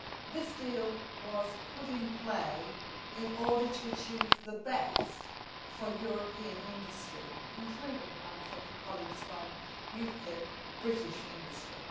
This deal was put in play in order to achieve the best for European industry including, I would say to colleagues from the UKIP, British industry.